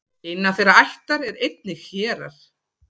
innan þeirrar ættar eru einnig hérar